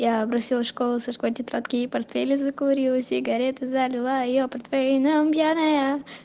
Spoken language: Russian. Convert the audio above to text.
я бросила школу сожгла тетрадки и портфели закурила сигарету залила её портвейном пьяная